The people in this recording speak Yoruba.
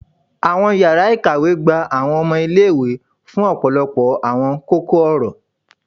Awọn yara ikawe gba awọn ọmọ ile-iwe fun ọpọlọpọ awọn koko-ọrọ